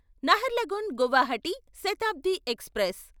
Naharlagun Guwahati Shatabdi express